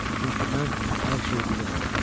Çünki mən hər şeyi bilirəm, başa düşürsünüz?